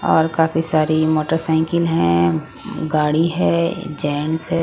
और काफी सारी मोटरसाइकिल है गाड़ी है जेंट्स है.